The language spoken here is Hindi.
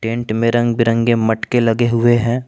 टेंट में रंग बिरंगे मटके लगे हुए हैं।